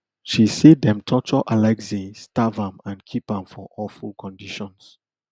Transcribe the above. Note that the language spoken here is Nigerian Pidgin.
she say dem torture alexei starve am and keep am for awful conditions